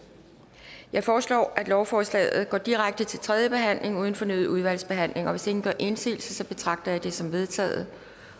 jeg foreslår at lovforslaget går direkte til tredje behandling uden fornyet udvalgsbehandling og hvis ingen gør indsigelse betragter jeg det som vedtaget